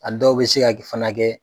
A dɔw bɛ se ka kɛ fana kɛ.